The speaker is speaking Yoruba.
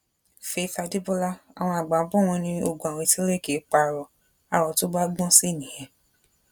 faith adébọlá àwọn àgbà bò wọn ní ogún àwítẹlẹ kì í pa aró aró tó bá gbọn sí nìyẹn